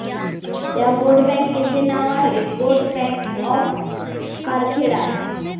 त्या गोट बँकेचे नाव आहे गोट बँक ऑफ कारखेडा